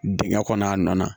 Dingɛn kɔnɔ a nɔ na